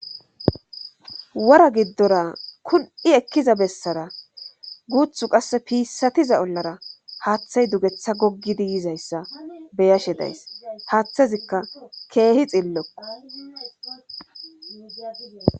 wora giddora kun7i ekkiza bessara guuthu qasse piissatiza ollara haaththay dugetha goggidi yizayssa beyashe days haathazikka keehi xillokko